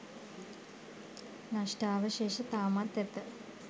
නෂ්ටාවශේෂ තාමත් ඇත